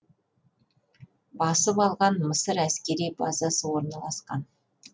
басып алған мысыр әскери базасы орналасқан